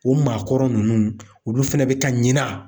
O maakɔrɔ nunnu olu fɛnɛ bɛ ka ɲina.